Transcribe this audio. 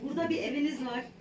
Burada bir eviniz var.